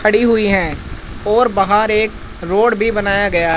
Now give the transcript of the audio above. खड़ी हुई हैं और बाहर एक रोड भी बनाया गया--